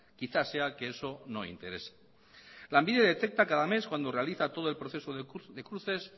quizá sea que eso no interesa lanbide detecta cada mes cuando realiza todo el proceso de cruces